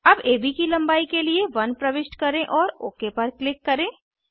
अब एबी की लंबाई के लिए 1 प्रविष्ट करें और ओक पर क्लिक करें